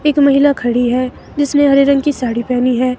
एक महिला खड़ी है जिसने हरे रंग की साड़ी पहनी है.